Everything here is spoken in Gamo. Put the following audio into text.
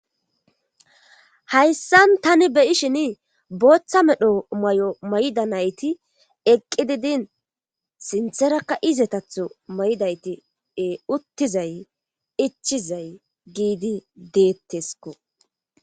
Hayssan tani beyishin booththa medho may7o may7da nayti eqqi didin sintherakka izetatho maydayti e uttizay ichizay giidi deetteskko.